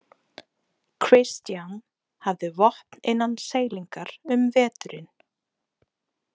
Christian hafði vopn innan seilingar um veturinn.